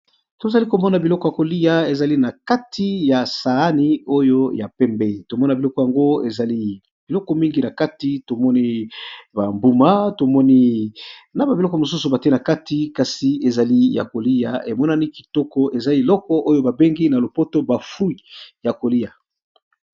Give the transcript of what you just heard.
Tozali komona biloko ya kolia ezali na kati ya saani oyo ya pembe, tomona biloko yango ezali biloko mingi na kati tomoni ba mbuma tomoni na ba biloko mosusu batie na kati kasi ezali ya kolia emonani kitoko eza eloko oyo ba bengi na lopoto ba fruit ya kolia.